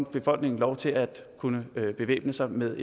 befolkningen lov til at kunne bevæbne sig med